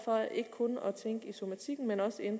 hundrede